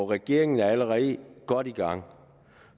regeringen er allerede godt i gang